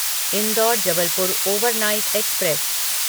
indoor Jabalpur overnight express